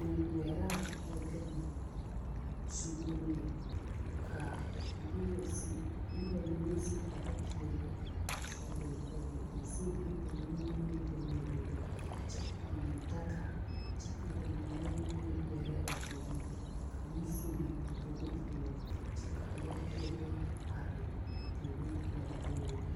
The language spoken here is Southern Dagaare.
Bogi wɛraa la gaŋ zuluŋ lɛ ka noba su noba mine su kpare peɛle a tɔɔɔre pɔg ba zu ne ba nimie ne ba nyabogo kyɛ pɔnne daga kyɛ ka ba mine meŋ wɛrɛ a bogi ka kaŋ meŋ sule o zu bogi poɔ kyɛ ka lɔpeɛle are a bogi lamboriŋ.